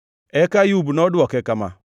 Eka Ayub nodwoke kama: